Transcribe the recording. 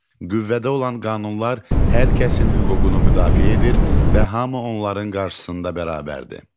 Qüvvədə olan qanunlar hər kəsin hüququnu müdafiə edir və hamı onların qarşısında bərabərdir.